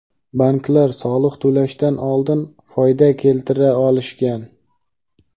banklar soliq to‘lashdan oldin foyda keltira olishgan.